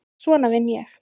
Svona vinn ég.